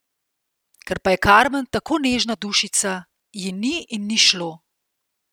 Ker pa je Karmen tako nežna dušica, ji ni in ni šlo!